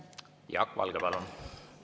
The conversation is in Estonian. Jaak Valge, palun!